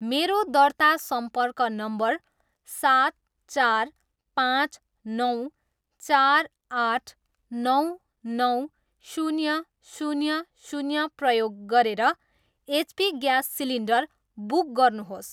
मेरो दर्ता सम्पर्क नम्बर सात चार पाँच नौ चार आठ नौ नौ शून्य शून्य शून्य प्रयोग गरेर एचपी ग्यास सिलिन्डर बुक गर्नुहोस्।